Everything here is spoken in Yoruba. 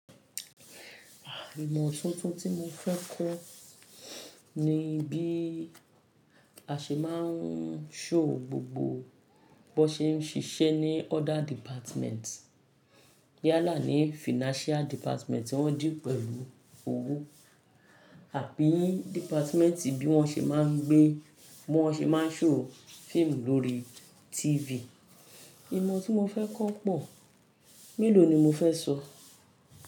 Ìmọ̀ tuntun tí mo fẹ́ kọ́ ni bí a ṣe máa ń show gbogbo bó n ṣe ń ṣiṣẹ́ ní other department. Yálà ní financial department tí wọ́n deal pẹ̀lú owó àbí department bí wọ́n ṣe máa ń gbé, bí wọ́n ṣe máa ń show fíìmù lórí TV. Ìmọ̀ tí mo fẹ́ kọ́ pọ̀, mélòó ni mo fẹ́ sọ?